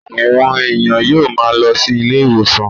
Àwọn èèyàn yóò máa lọ sí ilé-ìwòsàn